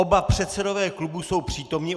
Oba předsedové klubů jsou přítomni.